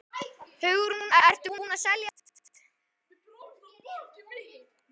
Hugrún: Ertu búinn að selja allt?